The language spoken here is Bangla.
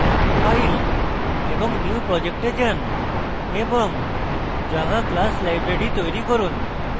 file> new project a যান এবং java class library তৈরী করুন